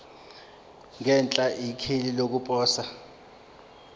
ngenhla ikheli lokuposa